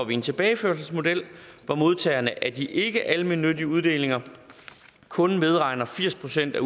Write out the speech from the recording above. vi en tilbageførselsmodel hvor modtagerne af de ikkealmennyttige uddelinger kun medregner firs procent af